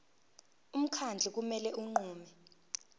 umkhandlu kumele unqume